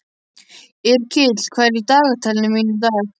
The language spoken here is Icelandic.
Yrkill, hvað er í dagatalinu mínu í dag?